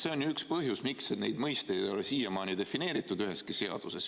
See on ju üks põhjus, miks neid mõisteid ei ole siiamaani defineeritud üheski seaduses.